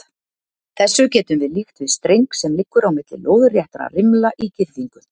Þessu getum við líkt við streng sem liggur á milli lóðréttra rimla í girðingu.